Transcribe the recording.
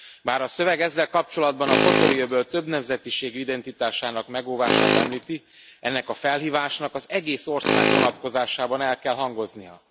Bár a szöveg ezzel kapcsolatban a Kotori öböl többnemzetiségű identitásának megóvását említi, ennek a felhívásnak az egész ország vonatkozásában el kell hangoznia.